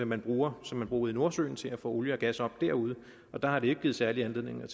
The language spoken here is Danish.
man bruger som man bruger ude i nordsøen til at få olie og gas op derude og der har det ikke givet særlig anledning